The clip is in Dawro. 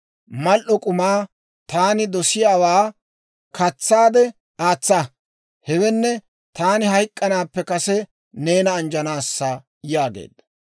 Mal"o k'umaa, taani dosiyaawaa katsaade aatsa; hewenne taani hayk'k'anaappe kase neena anjjanaassa» yaageedda.